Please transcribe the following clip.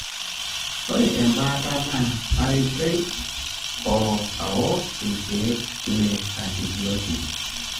ore embaata na aitoi o aok ilkeek le antibiotic,